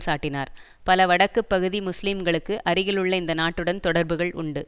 சாட்டினார் பல வடக்கு பகுதி முஸ்லீம்களுக்கு அருகிலுள்ள இந்த நாட்டுடன் தொடர்புகள் உண்டு